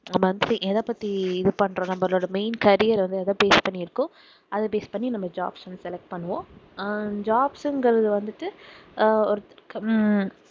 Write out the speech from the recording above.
நாம வந்துட்டு எதை பத்தி இது பண்ணுறோம் நம்மளோட main career வந்து எதை based பண்ணி இருக்கோ அதை base பண்ணி நம்ம jobs வந்து select பண்ணுவோம் ஆஹ் jobs ங்குறது வந்துட்டு ஆஹ் ஒருத்தரு~ உம்